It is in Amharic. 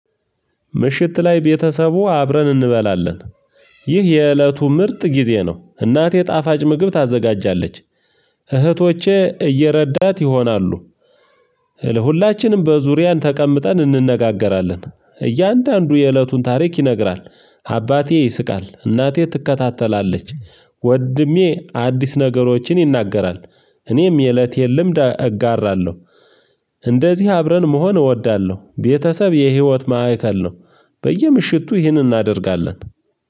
ምሽት ላይ ቤተሰቡ አብረን እንበላለን። ይህ የእለቱ ምርጥ ጊዜ ነው። እናቴ ጣፋጭ ምግብ ታዘጋጃለች። እህቶቼ እየረዳት ይሆናሉ። ለሁላችንም በዙሪያን ተቀምጠን እንነጋገራለን። እያንዳንዱ የእለቱን ታሪክ ይነግራል። አባቴ ይስቃል እናቴ ትከታተላለች። ወድሜ አዲስ ነገሮችን ይናገራል። እኔም የእለቴን ልምድ እጋራለሁ። እንደዚህ አብረን መሆን እወዳለሁ። ቤተሰብ የህይወት ማዕከል ነው። በየምሽቱ ይህንን እናደርጋለን።